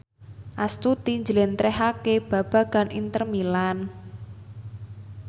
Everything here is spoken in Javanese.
Astuti njlentrehake babagan Inter Milan